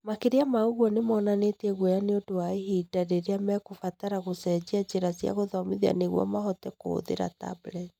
makĩria ma ũguo nĩ monanĩtie gũoya nĩũndũ wa ihinda rĩrĩa mekũbatara gũcenjia njĩra cia gũthomithia nĩguo mahote kũhũthĩra tableti